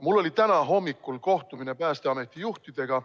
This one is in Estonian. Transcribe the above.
Mul oli täna hommikul kohtumine Päästeameti juhtidega.